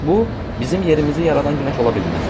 Bu, bizim yerimizi yaradan günəş ola bilməz.